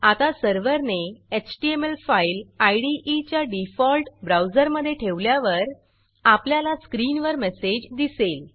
आता सर्व्हरने HTML file इदे च्या डिफॉल्ट ब्राऊजरमधे ठेवल्यावर आपल्याला स्क्रीनवर मेसेज दिसेल